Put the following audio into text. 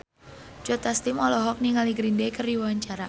Joe Taslim olohok ningali Green Day keur diwawancara